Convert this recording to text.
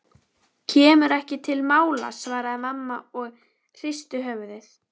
Kemur ekki til mála svaraði mamma og pabbi hristi höfuðið.